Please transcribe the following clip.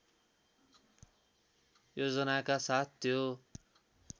योजनाका साथ त्यो